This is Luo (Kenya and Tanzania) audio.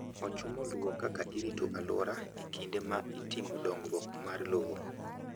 Ochumo luwo kaka irito alwora e kinde ma itimo dongruok mar lowo.